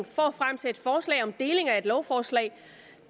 for at fremsætte forslag om deling af et lovforslag